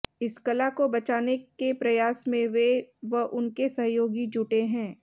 इस कला को बचाने के प्रयास में वे व उनके सहयोगी जुटे हैं